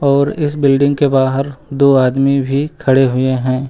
और इस बिल्डिंग के बाहर दो आदमी भी खड़े हुए हैं।